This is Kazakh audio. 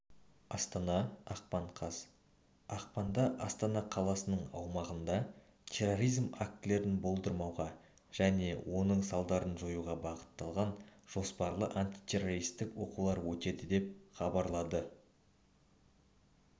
астана ақпан қаз ақпанда астана қаласының аумағында терроризм актілерін болдырмауға және оның салдарын жоюға бағытталған жоспарлы антитеррористік оқулар өтеді деп хабарлады